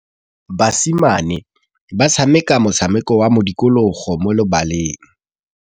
Basimane ba tshameka motshameko wa modikologô mo lebaleng.